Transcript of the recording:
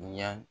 Yan